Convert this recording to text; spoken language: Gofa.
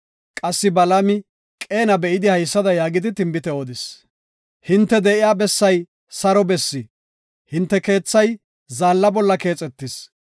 Qassi Balaami Qeena be7idi haysada yaagidi tinbite odis. “Hinte de7iya bessay saro bessi; hinte keethay zaalla bolla keexetis.